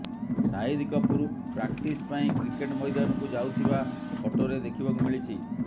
Shahid Kapoor practice ପାଇଁ cricket ମଇଦାନକୁ ଯାଉଥିବା ଫଟୋରେ ଦେଖିବାକୁ ମିଳିଛି